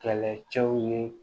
Kɛlɛcɛw ye